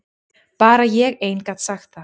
Bara ég ein gat sagt það.